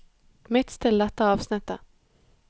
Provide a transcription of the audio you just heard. Midtstill dette avsnittet